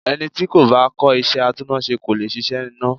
Ẹni tí kò bá kọ́ iṣẹ́ atúnnáṣe kò le ṣiṣẹ́ iná.